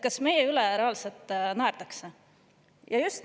Kas meie üle reaalselt naerdakse?